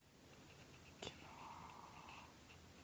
кино